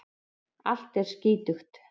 Allt er skítugt.